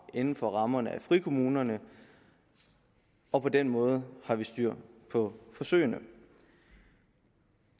inden for rammerne af frikommunerne og på den måde har vi styr på forsøgene